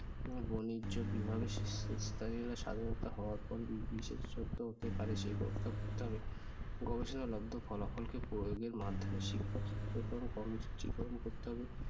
হম বাণিজ্য বিভাগে স্বাধীনতা হওয়ার পর বিশেষ সত্য হতে পারে সে ব্যবস্থা করতে হবে। গবেষণালব্ধ ফলাফল কে প্রয়োগের মাধ্যমে শিক্ষক-শিক্ষার্থীর কর্মসূচি গ্রহণ করতে হবে।